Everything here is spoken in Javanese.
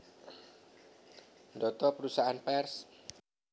Ndhata perusahaan pers